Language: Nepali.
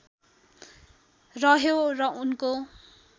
रह्यो र उनको